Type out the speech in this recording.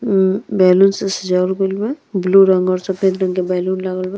म्म balloon से सजावल गइल बा। ब्लू रंग और सफ़ेद रंग के बैलून लगल बा।